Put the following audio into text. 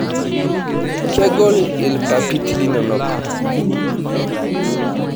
Kegoli irpapit linonok.